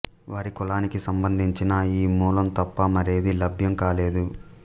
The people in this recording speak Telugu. వారి కులానికి సంబంధించిన ఈ మూలం తప్ప మరేదీ లభ్యం కాలేదు